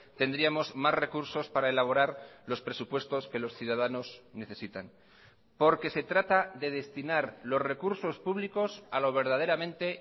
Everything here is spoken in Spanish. tendríamos más recursos para elaborar los presupuestos que los ciudadanos necesitan porque se trata de destinar los recursos públicos a lo verdaderamente